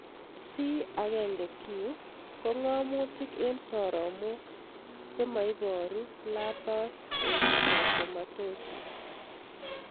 C1q ko ng'amutik eng' soromok chemaiparu lupus erythematosus.